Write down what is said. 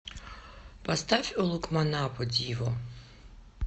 поставь улукманапо диво